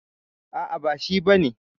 A'a, ba shi bane.